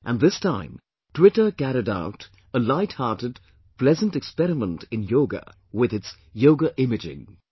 And this time Twitter carried out a light hearted pleasant experiment in Yoga with its 'Yoga imaging'